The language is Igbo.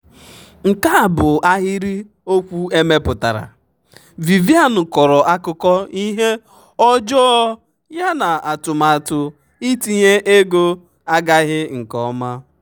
nke a bụ ahịrịokwu emepụtara: vivian kọrọ akụkọ ihe ọjọọ ya na atụmatụ itinye ego agaghị nke ọma.